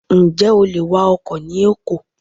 Ǹjẹ́ o lè wa ọkọ̀ ni Èkó?